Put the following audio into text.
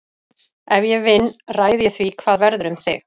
Ef ég vinn ræð ég því hvað verður um þig.